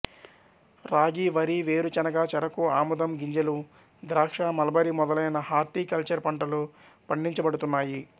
రాగి వరి వేరుచనగ చెరకు ఆముదం గింజలు ద్రాక్ష మల్బరి మొదలైన హార్టీ కల్చర్ పంటలు పండించబడుతున్నాయి